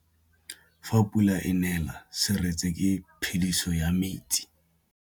Fa pula e nelê serêtsê ke phêdisô ya metsi.